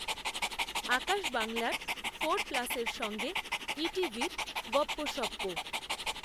আকাশ, বাংলার ফোর প্লাসএর সঙ্গে, ই টিভির, গপ্পসপ্প